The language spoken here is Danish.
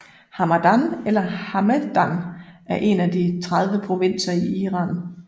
Hamadan eller Hamedan er en af de 30 provinser i Iran